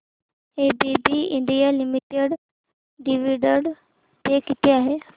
ABB India limited dividend pay किती आहे